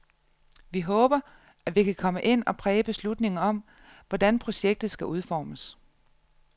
Vi håber, at vi kan komme ind og præge beslutningen om, hvordan projektet skal udformes.